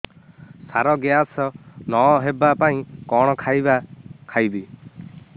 ସାର gas ନ ହେବା ପାଇଁ କଣ ଖାଇବା ଖାଇବି